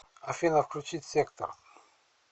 афина включить сектор